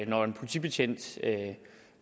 når en politibetjent